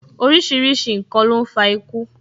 Orísìírísìí n kan ló ń fa iku